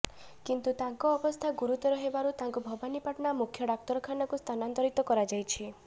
କିନ୍ତୁ ତାଙ୍କ ଅବସ୍ଥା ଗୁରୁତର ହେବାରୁ ତାଙ୍କୁ ଭବାନୀପାଟଣା ମୁଖ୍ୟ ଡାକ୍ତରଖାନାକୁ ସ୍ଥାନାନ୍ତରିତ କରାଯାଇଛି